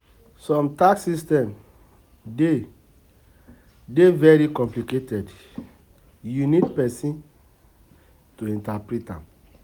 Some tax system dey dey very complicated you need person to interprete am